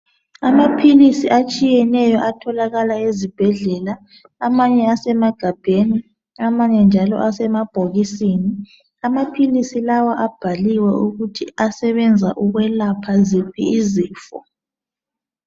Amaphilisi atshiyeneyo atholakala ezibhedlela amanye asemagabheni amanye njalo asebhokisini. Amaphilisi lawa abhaliwe ukuthi asebenza ukwelapha ziphi izifo.